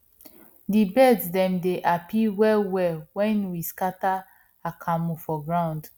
di birds dem dey happy wellwell when we scatter akamu for ground